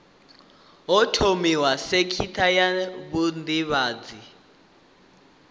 ho thomiwa sekitha ya vhudavhidzano